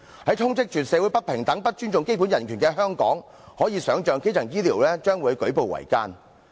在充斥社會不平等、不尊重基本人權的香港，可以想象基層醫療將會舉步維艱。